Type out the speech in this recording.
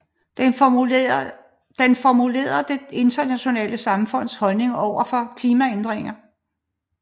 Den formulerer det internationale samfunds holdning over for klimaændringerne